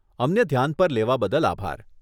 અમને ધ્યાન પર લેવા બદલ આભાર.